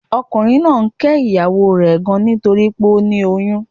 Ọkùnrin náà ń ké ìyàwó o rè gan nítorípé ó ti lóyún